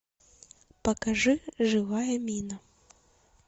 покажи живая мина